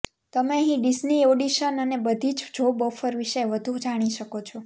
તમે અહીં Disney audition અને બધી જ જોબ ઓફર વિશે વધુ જાણી શકો છો